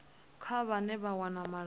kha vhane vha wana malamba